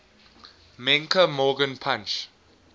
menke morgan punch